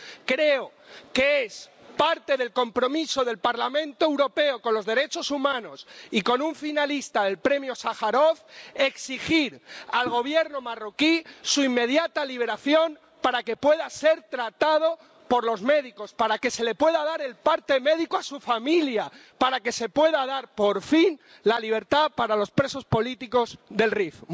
Creo que es parte del compromiso del Parlamento Europeo con los derechos humanos y con un finalista del Premio Sájarov exigir al Gobierno marroquí su inmediata liberación para que pueda ser tratado por los médicos, para que se le pueda dar el parte médico a su familia, para que se pueda dar, por fin, la libertad para los presos políticos del Rif.